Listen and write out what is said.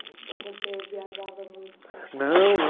você viajava muito? Não